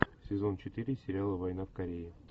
сезон четыре сериала война в корее